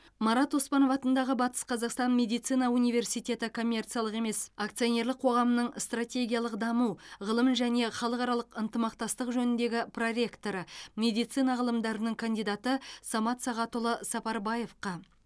марат оспанов атындағы батыс қазақстан медицина университеті коммерциялық емес акционерлік қоғамының стратегиялық даму ғылым және халықаралық ынтымақтастық жөніндегі проректоры медицина ғылымдарының кандидаты самат сағатұлы сапарбаевқа